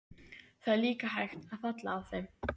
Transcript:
Það er líka hægt að falla á þeim.